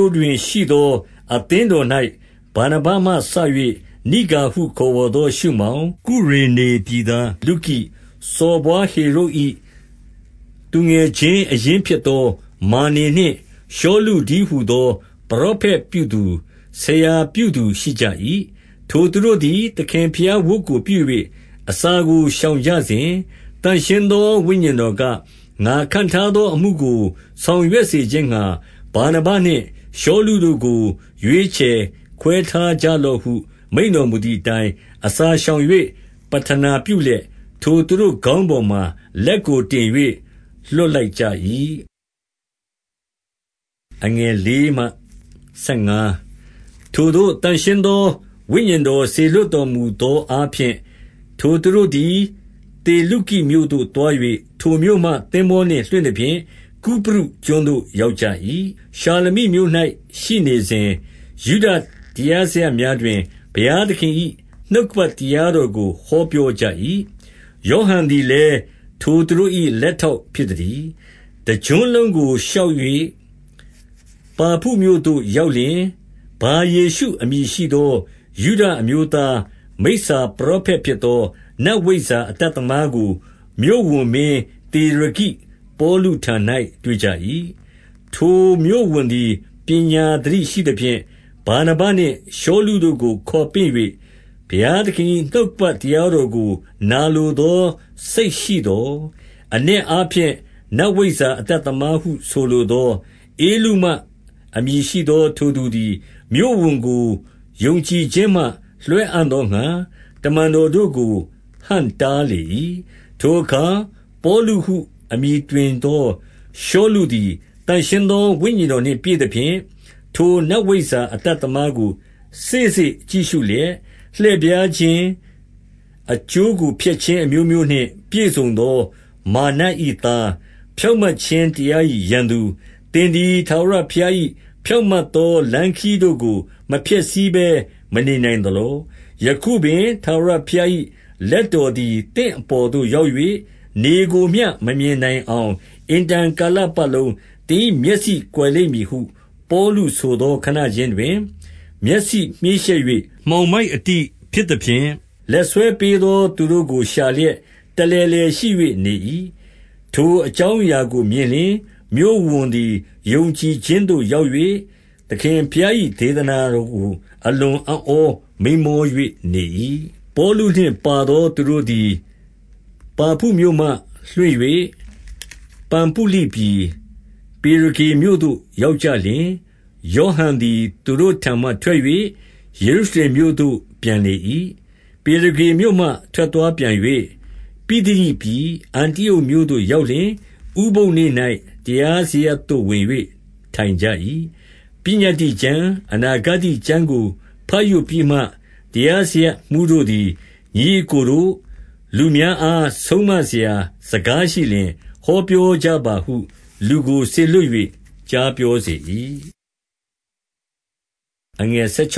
ို့တွင်ရှိသော အသင်းတော်၌ ဗာနဗမှစ၍ နိဂါဟု ခေါ်ဝေါ်သော ရှုမောင်၊ ကုရေနေ ပြည်သားလုကိ၊ စော်ဘွားဟေရုဒ်၏ သူငယ်ချင်း အရင်း ဖြစ်သော မာနင်နှင့်ရှောလုတည်းဟူသော ပရောဖက် ပြုသူ၊ ဆရာပြုသူရှိကြ၏။ 2 ထိုသူတို့သည်သခင်ဘုရား ဝတ်ကိုပြု၍ အစာကို ရှောင်ကြစဉ်၊ သန့်ရှင်းသောဝိညာဉ်တော်က၊ ငါခန့်ထားသောအမှုကို ဆောင်ရွက် စေခြင်းငှါ ဗာနဗနှင့် ရှောလု တို့ကို ရွေးချယ် ခွဲထားကြလော့ဟု မိန့်တော် မူသည် အတိုင်း၊ 3 အစာရှောင်၍ ပဌနာပြုလျက်၊ ထိုသူတို့ခေါင်း ပေါ်မှာ လက်ကို တင်၍လွှတ်လိုက်ကြ၏။ 4 ထိုသို့သန့်ရှင်းသော ဝိညာဉ်တော် စေလွှတ် တော်မူသောအားဖြင့်၊ ထိုသူတို့သည် သေလုကိမြို့သို့ သွား၍ ထိုမြို့မှ သင်္ဘောနှင့် လွှင့်သဖြင့်၊ ကုပရုကျွန်းသို့ ရောက်ကြ၏။ 5 ရှာလမိမြို့၌ရှိနေစဉ်၊ ယုဒတရားစရပ်များတွင် ဘုရားသခင်၏ နှုတ်ကပတ် တရားတော်ကို ဟောပြော ကြ၏။ ယောဟန်သည်လည်း ထိုသူတို့၏ လက်ထောက် ဖြစ်သတည်း။ 6 တကျွန်းလုံးကို ရှောက်၍ပါဖုမြို့သို့ရောက်လျှင်၊ 7 ဗာယေရှုအမည်ရှိသော ယုဒအမျိုးသား မိစ္ဆာပရောဖက် ဖြစ်သော နတ်ဝိဇ္ဇာအတ်သမားကို မြို့ဝန် မင်းသေရဂိပေါလု ထံ၌တွေ့ကြ၏။ ထိုမြို့ဝန်သည် ပညာသတိရှိသဖြင့်၊ ဗာနဗနှင့်ရှောလုတို့ကို ခေါ်ပင့်၍ ဘုရားသခင်၏ နှုတ်ကပတ်တရားတော် ကိုနာလိုသောစိတ်ရှိသော်၊ 8 အနက်အားဖြင့် နတ်ဝိဇ္ဇာအတတ်သမားဟု ဆိုလိုသော ဧလုမ အမည်ရှိသောထိုသူသည် မြို့ဝန်ကို ယုံကြည်ခြင်းမှ လွှဲအံ့သောငှါ တမန်တော်တို့ကို ဟန့်တားလေ၏။ 9 ထိုအခါပေါလုဟု အမည်တွင်သော ရှောလု သည် သန့်ရှင်း သော ဝိညာဉ်တော်နှင့်ပြည့်သဖြင့်၊ ထို နတ်ဝိဇ္ဇာအတတ်သမားကို စေ့စေ့ကြည့်ရှုလျက်၊ 10 လှည့်ဖြားခြင်း၊ အကျိုးကိုဖျက်ခြင်း အမျိုးမျိုး နှင့်ပြည့်စုံသော မာရ်နတ်၏သား၊ ဖြောင့်မတ်ခြင်း တရား၏ ရန်သူ၊ သင်သည်ထာဝရ ဘုရား၏ ဖြောင့်မတ် သော လမ်းခရီးတို့ကို မဖျက်ဆီးဘဲမနေနိုင်သလော။ 11 ယခုပင်ထာဝရဘုရား၏ လက်တော်သည် သင့်အပေါ်သို့ ရောက်၍၊ နေကိုမျှမမြင်နိုင်အောင် အင်တန် ကာလပတ်လုံး သင်၏ မျက်စိကွယ်လိမ့်မည်ဟု ပေါလုဆိုသော ခဏခြင်းတွင်မျက်စိမြှေးရှက်၍ မှောင်မိုက်အတိဖြစ်သဖြင့်၊ လက်ဆွဲပေးသော သူတို့ကို ရှာလျက် တလည်လည်ရှိ၍နေ၏။ 12 ထိုအကြောင်းအရာကိုမြင်လျှင်၊ မြို့ဝန်သည် ယုံကြည်ခြင်းသို့ ရောက်၍၊ သခင်ဘုရား၏ ဒေသနာ တော်ကို အလွန်အံ့ဩမိန်းမော၍ နေ၏။ 13 ပေါလုနှင့်ပါသောသူတို့သည် ပါဖုမြို့မှလွှင့်၍ ပံဖုလိပြည်၊ ပေရဂေမြို့သို့ရောက်ကြလျှင်၊ ယောဟန် သည် သူတို့ထံမှထွက်၍ ယေရုရှလင်မြို့သို့ပြန်လေ၏။ 14 ပေရဂမြို့မှထွက်သွားပြန်၍ ပိသိဒိပြည်၊ အန္တိအုတ်မြို့သို့ ရောက်လျှင်၊ ဥပုသ်နေ့၌ တရားစရပ် သို့ဝင်၍ထိုင်ကြ၏။ 15 ပညတ္တိကျမ်း၊ အနာဂတ္တိကျမ်းကိုဘတ်ရွတ်ပြီးမှ၊ တရားစရပ်မှူး တို့သည်၊ ညီအစ်ကိုတို့၊ လူများအား ဆုံးမ စရာ စကားရှိလျှင် ဟောပြော ကြပါဟု လူကိုစေလွှတ်၍ ကြားပြောစေ၏။ 16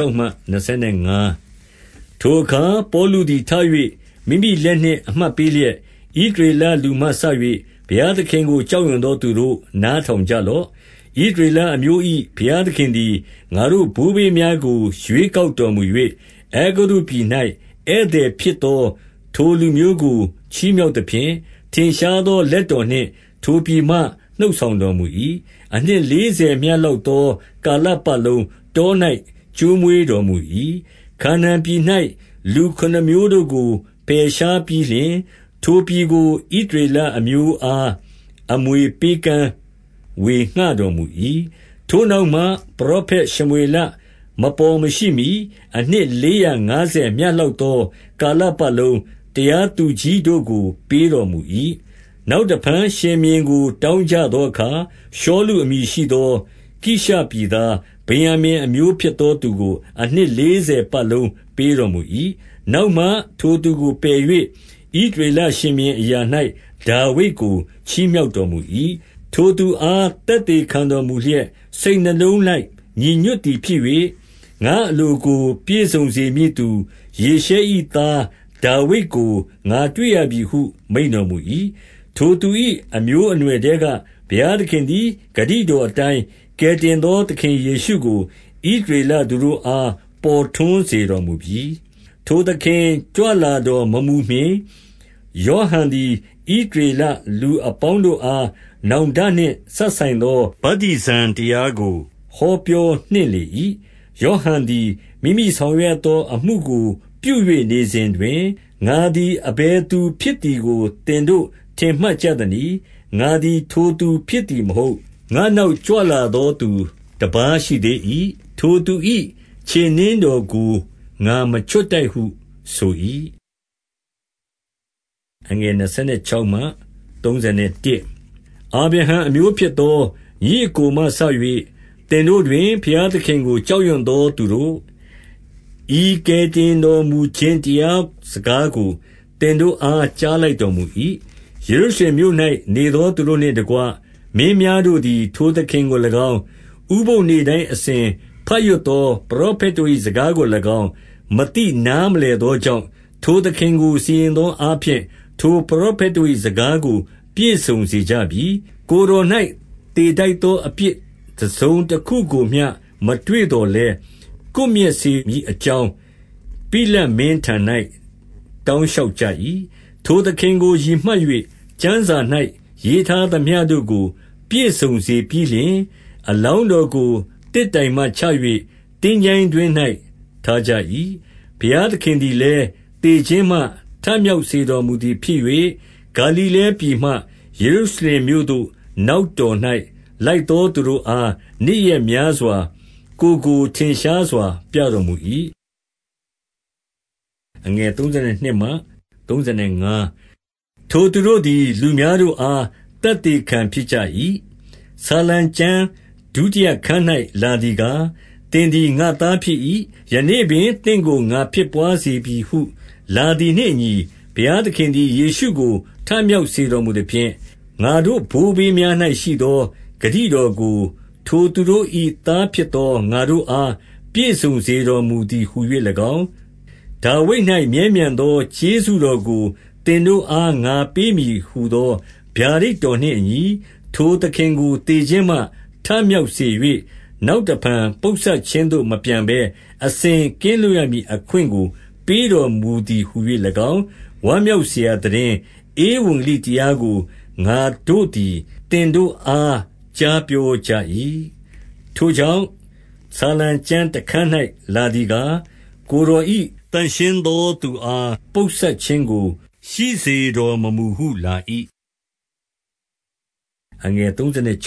ထိုအခါပေါလုသည်ထ၍ မိမိလက်နှင့် အမှတ် ပေးလျက်၊ ဣသရေလလူမှစ၍ ဘုရားသခင်ကို ကြောက်ရွံ့သောသူတို့၊ နားထောင် ကြလော့။ 17 ဣသရေလအမျိုး၏ ဘုရားသခင်သည် ငါတို့ ဘိုးဘေးများကို ရွေးကောက်တော်မူ၍၊ အဲဂုတ္တုပြည်၌ ဧည့်သည်ဖြစ်သော ထိုလူမျိုးကို ချီးမြှောက်သဖြင့်၊ ထင်ရှားသော လက်တော်နှင့်ထိုပြည်မှ နှုတ်ဆောင် တော်မူ၏။ 18 အနှစ်လေးဆယ်မျှလောက်သော ကာလပတ်လုံး တော၌ ကျွေးမွေးတော်မူ၏။ 19 ခါနာန်ပြည်၌ လူခုနစ်မျိုးတို့ကို ပယ်ရှားပြီးလျှင်၊ ထိုပြည်ကို ဣသရေလ အမျိုးအမွေ ပေးကမ်း ဝေငှတော်မူ၏။ 20 ထိုနောက်မှပရောဖက်ရှမွေလမပေါ်မရှိမှီ အနှစ်လေးရာငါးဆယ်မျှလောက်သော ကာလပတ်လုံး၊ တရားသူကြီးတို့ကိုပေးတော်မူ၏။ 21 နောက်တဖန် ရှင်ဘုရင်ကို တောင်းကြသော အခါရှောလု အမည်ရှိသော ကိရှ၏သား၊ ဗင်္ယာမိန် အမျိုးဖြစ်သောသူကို အနှစ်လေးဆယ်ပတ်လုံးပေးတော်မူ၏။ 22 နောက်မှထိုသူကိုပယ်၍၊ ဣသရေလရှင်ဘုရင်အရာ၌ ဒါဝိဒ်ကို ချီးမြောက်တော်မူ၏။ ထိုသူ အားသက်သေခံတော်မူလျက်၊စိတ်နှလုံး၌ ညီညွတ်သည် ဖြစ်၍ ငါ့အလိုကိုပြည့်စုံစေမည့်သူ၊ ယေရှ၏ သားဒါဝိဒ်ကို ငါတွေ့ရပြီဟု မိန့်တော်မူ၏။ 23 ထိုသူ၏အမျိုးအနွယ်ထဲ၌ ဘုရားသခင်သည် ဂတိတော်အတိုင်း ကယ်တင်သောသခင်ယေရှုကို ဣသရေလလူတို့အား ပေါ်ထွန်း စေတော်မူပြီ။ 24 ထိုသခင်ကြွလာတော်မမူမှီ ယောဟန်သည် ဣသရေလလူ အပေါင်းတို့အား နောင်တနှင့် စပ်ဆိုင် သော ဗတ္တိဇံတရားကို ဟောပြောနှင့်လေ၏။ 25 ယောဟန်သည်မိမိဆောင်ရွက်ရသော အမှုကိုပြု၍ နေစဉ်တွင်၊ ငါသည် အဘယ်သူဖြစ်သည်ကို သင်တို့ ထင်မှတ်ကြသနည်း။ ငါသည် ထိုသူဖြစ်သည်မဟုတ်။ ငါ့နောက်ကြွလာသောသူတပါးရှိသေး၏။ ထိုသူ၏ ခြေနင်းတော်ကို ငါမချွတ်ထိုက်ဟုဆို၏။ 26 အာဗြဟံအမျိုးဖြစ်သော ညီအစ်ကိုမှစ၍ သင်တို့တွင် ဘုရား သခင်ကို ကြောက်ရွံ့သောသူတို့၊ ဤ ကယ်တင်တော်မူခြင်းတရားစကားကို သင်တို့အား ကြားလိုက်တော်မူ၏။ 27 ယေရုရှလင်မြို့၌ နေသောသူတို့နှင့်တကွ မင်းများတို့သည် ထိုသခင်ကို၎င်း၊ ဥပုသ်နေ့တိုင်းအစဉ် ဘတ်ရွက်သော ပရောဖက်တို့၏ စကားကို၎င်း၊ မသိ နားမလည်သောကြောင့်၊ ထိုသခင်ကိုစီရင်သော အားဖြင့်၊ ထိုပရောဖက်တို့၏ စကားကိုပြည့်စုံစေကြပြီ။ 28 ကိုယ်တော်၌သေထိုက်သောအပြစ် တစုံတခုကို မျှ မတွေ့သော်လည်း၊ ကွပ်မျက်စေမည်အကြောင်း ပိလတ်မင်းထံ၌ တောင်းလျှောက်ကြ၏။ 29 ထိုသခင်ကိုရည်မှတ်၍ ကျမ်းစာ၌ ရေးထား သမျှတို့ကို ပြည့်စုံ စေပြီးလျှင်၊ အလောင်းတော်ကို သစ်တိုင်မှချ၍သင်္ချိုင်းတွင်း၌ ထားကြ၏။ 30 ဘုရားသခင်သည် သေခြင်းမှ ထမြောက်စေ တော်မူသည်ဖြစ်၍၊ 31 ဂါလိလဲပြည်မှ ယေရုရှလင်မြို့သို့နောက်တော်၌ လိုက်သောသူ တို့အားနေ့ရက်များစွာ ကိုယ်ကို ထင်ရှားပြ တော်မူ၏။ 32 ထိုသူတို့သည် လူများတို့အား သက်သေခံဖြစ် ကြ၏။ 33 ဆာလံကျမ်းဒုတိယခဏ်း၌လာသည်ကား၊ သင်သည်ငါ့သား ဖြစ်၏။ 34 ယနေ့ပင်သင့်ကိုငါဖြစ်သွားစေပြီဟု လာသည် နှင့်အညီ၊ ဘုရားသခင်သည် ယေရှုကို ထမြောက်စေ တော်မူသဖြင့်၊ ငါတို့ဘိုးဘေး များ၌ရှိသော ဂတိတော်ကို ထိုသူတို့၏ သားဖြစ်သောငါတို့အား ပြည့်စုံတော်မူ သည်ဟူ၍၎င်း၊ ဒါဝိဒ်၌မြဲမြံသော ကျေးဇူးတော်ကို သင်တို့အား ငါပေးမည်ဟူသောဗျာဒိတ်တော်နှင့်အညီ၊ ထိုသခင်ကို သေခြင်းမှ ထမြောက်စေ၍၊ နောက်တဖန် ပုပ်စပ်ခြင်းသို့ မပြန်ဘဲ အစဉ်ကင်းလွတ် ရမည်အခွင့်ကို ပေးတော်မူသည်ဟူ၍၎င်း၊ ဝမ်းမြောက်စရာသိတင်း ဧဝံဂေလိတရားကို ငါတို့သည် သင်တို့အား ကြားပြော ကြ၏။ 35 ထိုကြောင့်ဆာလံကျမ်းတခဏ်း၌ လာသည်ကား၊ ကိုယ်တော်၏ သန့်ရှင်းသောသူအား ပုပ်စပ်ခြင်းကို ရှိစေတော်မမူဟုလာ၏။ 36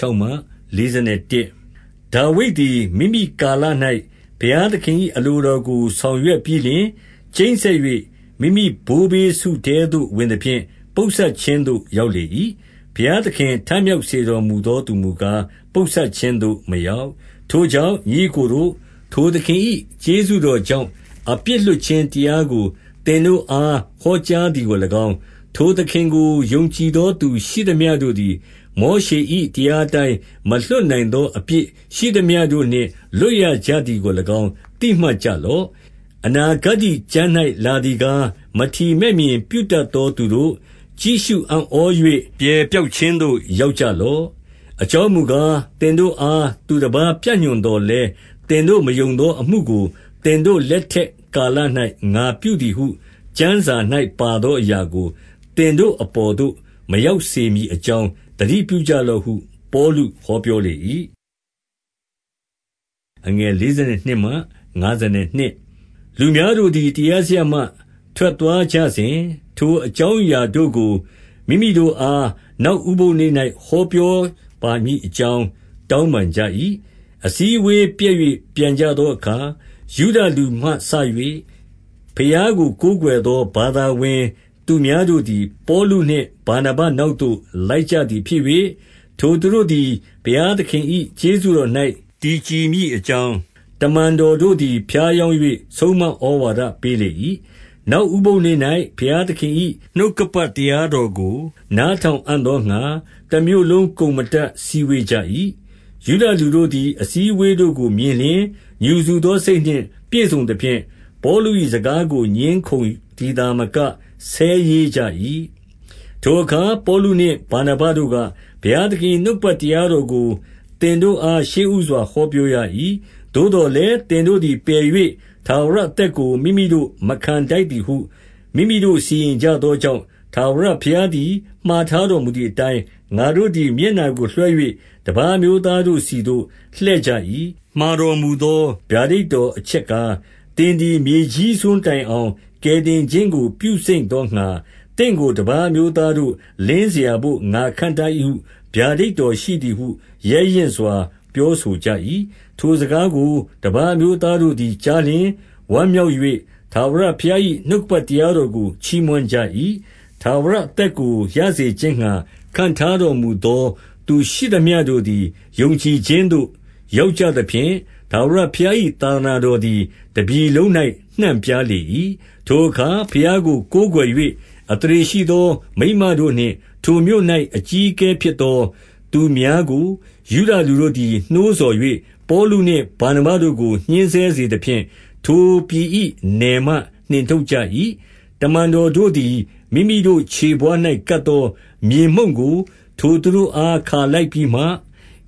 ဒါဝိဒ်သည်မိမိကာလ၌ ဘုရားသခင်၏ အလို တော်ကို ဆောင်ရွက်ပြီးလျှင်၊ ကျိန်းစက်၍ မိမိဘိုးဘေး စုထဲသို့ဝင်သဖြင့် ပုပ်စပ်ခြင်း သို့ ရောက်လေ၏။ 37 ဘုရားသခင် ထမြောက်စေတော်မူသော သူမူကား၊ ပုပ်စပ်ခြင်းသို့ မရောက်။ 38 ထိုကြောင့်ညီအစ်တို့ကို၊ ထိုသခင်၏ ကျေးဇူးတော်ကြောင့် အပြစ်လွှတ်ခြင်းတရားကို သင်တို့အား ဟောကြားသည်ကို၎င်း၊ 39 ထိုသခင်ကိုယုံကြည်သောသူ ရှိသမျှတို့သည် မောရှေ၏ တရားအတိုင်း မလွတ်နိုင်သော အပြစ်ရှိသမျှ တို့နှင့် လွတ်ရကြသည်ကို၎င်း သိမှတ် ကြလော့။ 40 အနာဂတ္တိကျမ်း၌လာသည်ကား၊ မထီမဲ့မြင် ပြုတတ်သောသူတို့၊ ကြည့်ရှုအံ့ဩ၍ ပြယ်ပျောက်ခြင်းသို့ ရောက်ကြလော့။ 41 အကြောင်းမူကား၊ သင်တို့အားသူတပါး ပြညွှန်သော်လည်း၊ သင်တို့မယုံသော အမှုကိုသင်တို့ လက်ထက် ကာလ၌ ငါပြုသည်ကျမ်းစာ၌ ပါသောအရာကို သင်တို့ အပေါ်သို့ မရောက်စေမည်အကြောင်း၊ သတိပြု ကြလော့ဟု ပေါလုဟောပြောလေ၏။ 42 လူများတို့သည် တရားစရပ်မှ ထွက်သွားကြစဉ်၊ ထိုအကြောင်း အရာတို့ကို မိမိတို့အား နောက်ဥပုသ်နေ့၌ ဟောပြောပါမည်အကြောင်း တောင်းပန်ကြ၏။ 43 အစည်းအဝေးပျက်၍ ပြန်ကြသောအခါ ယုဒလူမှစ၍ ဘုရားကို ကိုးကွယ်သော ဘာသာဝင်သူများ တို့သည် ပေါလုနှင့် ဗာနဗနောက်သို့ လိုက်ကြသည်ဖြစ်၍ ထိုသူတို့သည် ဘုရားသခင်၏ ကျေးဇူးတော်၌ တည်ကြည် မည်အကြောင်း၊ တမန်တော်တို့သည် ဖြားယောင်း၍ ဆုံးမဩဝါဒပေးလေ၏။ 44 နောက်ဥပုသ်နေ့၌ ဘုရားသခင်၏ နှုတ်ကပတ် တရားတော်ကို နားထောင်အံ့သောငှါ တမြို့လုံး ကုန်မ တတ်စည်းဝေးကြ၏။ 45 ယုဒလူတို့သည် အစည်းအဝေးတို့ကို မြင်လျှင် ငြူစူသောစိတ် နှင့်ပြည့်စုံသဖြင့်၊ ပေါလု၏စကားကို ငြင်းခုံသည်သာမက ဆဲရေးကြ၏။ 46 ထိုအခါပေါလုနှင့်ဗာနဗတို့က၊ ဘုရားသခင်၏ နှုတ်ကပတ် တရားတော်ကိုသင်တို့အား ရှေ့ဦးစွာ ဟော ပြောရ၏။ သို့သော်လည်း သင်တို့သည်ပယ်၍ ထာဝရ အသက်ကိုမိမိတို့ မခံထိုက်သည်ဟု မိမိတို့စီ ရင်ကြ သောကြောင့်၊ ထာဝရဘုရားသည် မှာတော်မူသည်အတိုင်း ငါတို့သည်မျက်နှာကိုလွှဲ၍ တပါးအမျိုးသားတို့ ဆီသို့ လှည့်ကြ၏။ 47 မှာတော်မူသော ဗျာဒိတ်တော်အချက်ကား၊ သင်သည် မြေကြီးစွန်းတိုင်အောင် ကယ်တင်ခြင်းကို ပြုစိမ့်သောငှါ၊ သင်ကိုတပါး အမျိုးသားလင်းစရာဘို့ ငါခန့်ထား၏ဟု ဗျာဒိတ်တော်ရှိသည်ဟု ရဲရင့်စွာ ပြောဆိုကြ၏။ 48 ထိုစကားကို တပါးအမျိုးသားတို့သည်ကြားလျှင် ဝမ်းမြောက်၍ ထာဝရဘုရား၏ နှုတ်ကပတ် တရားတော် ကိုချီးမွမ်းကြ၏။ ထာဝရ အသက်ကို ရစေခြင်းငှါ ခန့်ထားတော်မူသော သူရှိသမျှတို့သည် ယုံကြည် ခြင်းသို့ ရောက်ကြသဖြင့်၊ 49 ထာဝရဘုရား၏ သာသနာတော်သည် တပြည် လုံး၌ နှံပြားလေ၏။ 50 ထိုအခါ ဘုရားကိုကိုးကွယ်၍ အသရေရှိသော မိန်းမတို့နှင့် ထိုမြို့၌အကြီးအကဲဖြစ်သော သူများကို ယုဒလူတို့သည် နှိုးဆော်၍၊ ပေါလုနှင့်ဗာနဗတို့ကို ညှဉ်းဆဲစေသဖြင့် ထိုပြည်၏နယ်မှ နှင်ထုတ်ကြ ၏။ 51 တမန်တော်တို့သည် မိမိတို့ခြေဖဝါး၌ကပ်သော မြေမှုန့်ကို ထိုသူတို့အားခါလိုက်ပြီးမှ ၊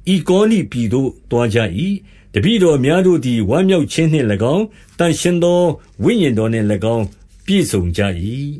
ဣကောနိမြို့သို့ သွားကြ၏။ 52 တပည့်တော်များတို့သည် ဝမ်းမြောက်ခြင်းနှင့် ၎င်း၊ သန့်ရှင်းသော ဝိညာဉ်တော်နှင့်၎င်းပြည့်စုံကြ၏။